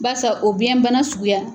basa o biyɛnbana sugu ya.